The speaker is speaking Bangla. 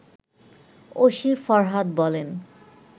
ওসি ফরহাদ বলেন